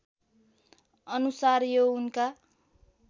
अनुसार यो उनका